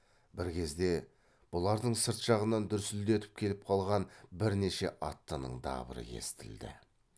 бір кезде бұлардың сырт жағынан дүрсілдетіп келіп қалған бірнеше аттының дабыры естілді